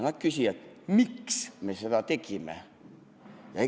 Nad küsivad: miks me seda tegime?